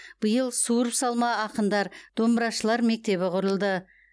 биыл суырып салма ақындар домбырашылар мектебі құрылды